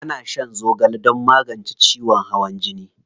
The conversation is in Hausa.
Ana shan zogale don magance ciwon hawan jini.